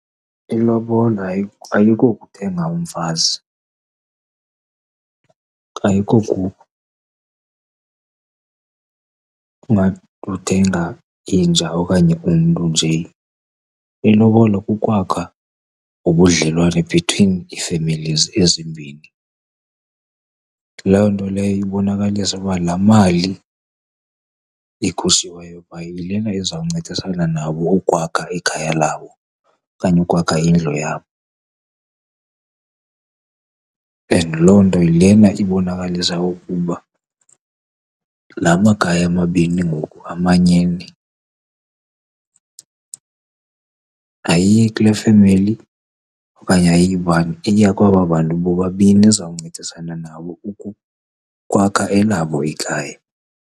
Ilobola ayikokuthenga umfazi ingathi uthenga inja okanye umntu nje. Ilobola kukwakha ubudlelwane between iifemelizi ezimbini. Loo nto leyo ibonakalisa ukuba la mali ikhutshiweyo pha yilena izawuncedasana nabo ukwakha ikhaya labo okanye ukwakha indlu yabo, and loo nto yilena ibonakalisa ukuba la makhaya mabini ngoku amanyene. Ayiyi kule femeli okanye iya kwaba bantu bobabini, izawuncedisana nabo ukwakha elabo ikhaya.